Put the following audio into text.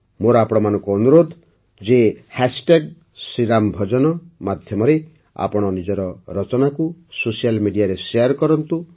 ମୋର ଆପଣମାନଙ୍କୁ ଅନୁରୋଧ ଯେ ହ୍ୟାଶଟ୍ୟାଗ୍ ଶ୍ରୀରାମ ଭଜନ ଶ୍ରୀରାମ ଭଜନ ମାଧ୍ୟମରେ ଆପଣ ନିଜର ରଚନାକୁ ସୋସିଆଲ୍ ମେଡିଆ ରେ ଶେୟାର କରନ୍ତୁ